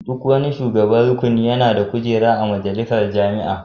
Duk wani shugaban rukuni yana da kujera a majalisar jami'a.